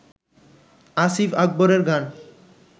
আসিফ আকবরের গান